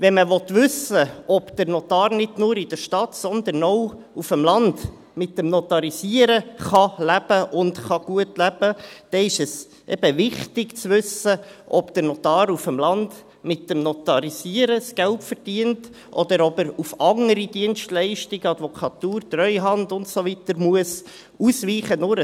Wenn man wissen will, ob der Notar nicht nur in der Stadt, sondern auch auf dem Land vom Notarisieren leben und gut leben kann, dann ist es eben wichtig zu wissen, ob der Notar auf dem Land mit dem Notarisieren das Geld verdient, oder ob er auf andere Dienstleistungen, Advokatur, Treuhand und so weiter, ausweichen muss.